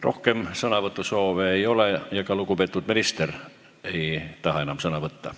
Rohkem sõnavõtu soove ei ole ja ka lugupeetud minister ei taha enam sõna võtta.